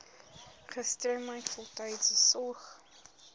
gestremdheid voltydse sorg